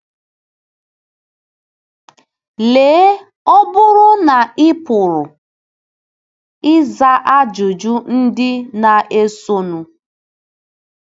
Lee, ọ bụrụ na ị pụrụ ịza ajụjụ ndị na-esonụ: